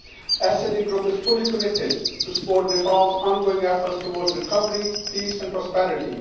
The SD Group is fully committed to supporting Nepal's ongoing efforts towards recovery, peace and prosperity.